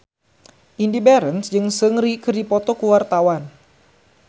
Indy Barens jeung Seungri keur dipoto ku wartawan